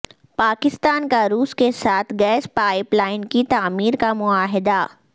پاکستان کا روس کے ساتھ گیس پائپ لائن کی تعمیر کا معاہدہ